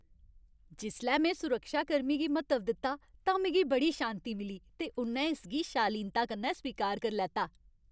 जिसलै में सुरक्षाकर्मी गी म्हत्तव दित्ता तां मिगी बड़ी शान्ति मिली, ते उ'न्नै इसगी शालीनता कन्नै स्वीकार करी लैता।